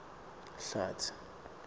hlatsi